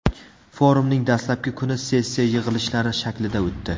Forumning dastlabki kuni sessiya yig‘ilishlari shaklida o‘tdi.